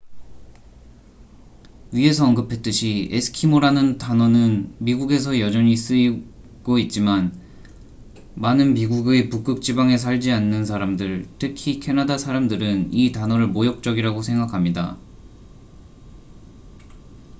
위에서 언급했듯이 에스키모'라는 단어는 미국에서 여전히 쓰이고 있지만 많은 미국의 북극지방에 살지 않는 사람들 특히 캐나다 사람들은 이 단어를 모욕적이라고 생각합니다